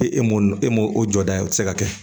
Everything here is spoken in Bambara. E e m'o e mɔ o jɔda o tɛ se ka kɛ